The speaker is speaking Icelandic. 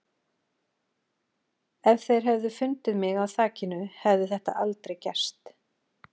Ef þeir hefðu fundið mig á þakinu hefði þetta aldrei gerst.